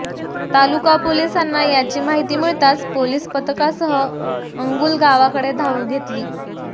तालुका पोलिसांना याची माहिती मिळताच पोलीस पथकासह अंगुलगावकडे धाव घेतली